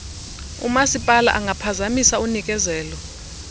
umasipala angaphazamisa unikezelo